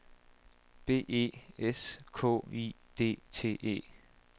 B E S K I D T E